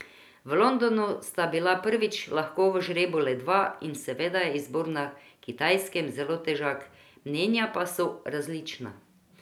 V Londonu sta bila prvič lahko v žrebu le dva in seveda je izbor na Kitajskem zelo težak, mnenja pa so različna.